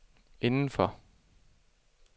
indenfor